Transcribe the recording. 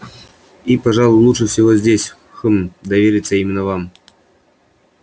и пожалуй лучше всего здесь хм довериться именно вам